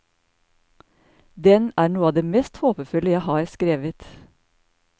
Den er noe av det mest håpefulle jeg har skrevet.